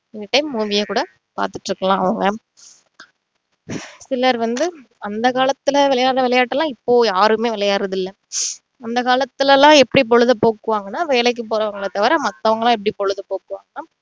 சில time movie ஏ கூட பாத்துட்டு இருக்கலாம் அஹ் சிலர் வந்து அந்த காலத்துல விளையாடின விளையாட்டு எல்லாம் இப்போ யாருமே விளையாடுறதில்ல அந்த காலத்துல எல்லாம் எப்படி பொழுத போக்குவாங்கன்னா வேலைக்கு போறவங்கள தவிர மத்தவங்க எல்லாம் எப்படி பொழுத போக்குவாங்கன்னா